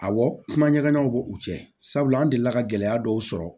Awɔ kumaɲɔgɔnw b'u cɛ sabula an delila ka gɛlɛya dɔw sɔrɔ